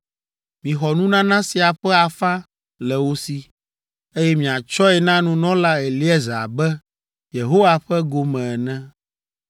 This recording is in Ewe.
Mixɔ nunana sia ƒe afã le wo si, eye miatsɔe na nunɔla Eleazar abe Yehowa ƒe gome ene.